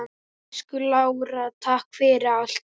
Elsku Lára, takk fyrir allt.